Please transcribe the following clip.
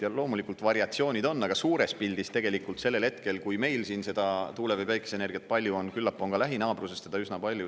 Ja loomulikult, variatsioonid on, aga suures pildis tegelikult sellel hetkel, kui meil siin seda tuule- või päikeseenergiat palju on, küllap on ka lähinaabruses teda üsna palju.